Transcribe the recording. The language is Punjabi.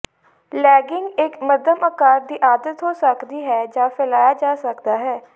ਲੇਗੇਿੰਗ ਇੱਕ ਮੱਧਮ ਆਕਾਰ ਦੀ ਆਦਤ ਹੋ ਸਕਦੀ ਹੈ ਜਾਂ ਫੈਲਾਇਆ ਜਾ ਸਕਦਾ ਹੈ